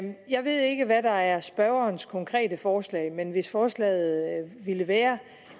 jeg ved ikke hvad der er spørgerens konkrete forslag men hvis forslaget ville være